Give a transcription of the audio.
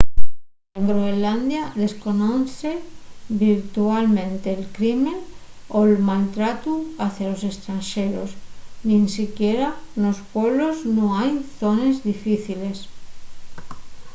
en groenlandia desconozse virtualmente’l crime o’l mal tratu hacia los estranxeros. nin siquiera nos pueblos nun hai zones difíciles